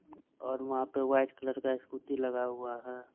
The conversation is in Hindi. हम्म और वहा पर वाईट कलर का स्कूटी लगा हुआ है।